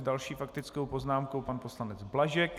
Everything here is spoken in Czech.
S další faktickou poznámkou pan poslanec Blažek.